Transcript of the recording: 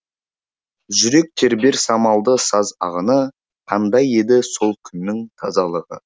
жүрек тербер самалды саз ағыны қандай еді сол күннің тазалығы